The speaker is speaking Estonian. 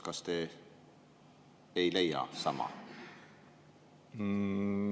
Kas te ei leia sama?